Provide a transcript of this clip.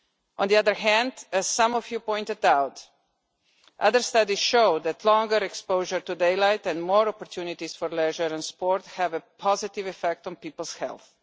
On the other hand, as some of you pointed out, other studies show that longer exposure to daylight and more opportunities for leisure and sport have a positive effect on people's health.